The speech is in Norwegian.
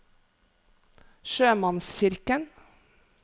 sjømannskirken